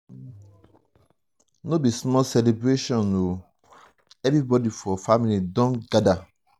no be small celebration o everybodi for family don gada.